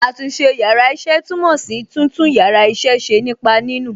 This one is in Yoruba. Àtúnṣe yàrá iṣẹ́ túmọ̀ sí títún yàrá iṣẹ́ ṣe nípa nínù.